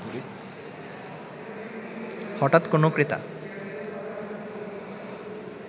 হঠাৎ কোনো ক্রেতা